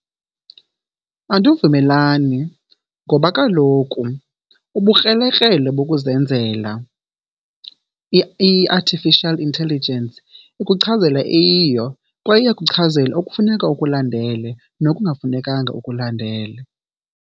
Andivumelani ngoba kaloku ubukrelekrele bokuzenzela, i-artificial intelligence, ikuchazela eyiyo kwaye iyakuchazela okufuneka ukulandele nokungafunekanga ukulandele.